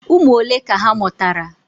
Ụmụ ole ka ha mụtara?